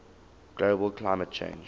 global climate change